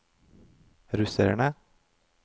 russerne